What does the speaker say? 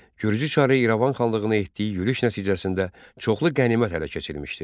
Gürcü çarı İrəvan xanlığına etdiyi yürüş nəticəsində çoxlu qənimət ələ keçirilmişdi.